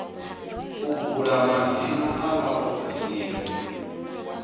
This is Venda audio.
u bula madzina a vhaofisiri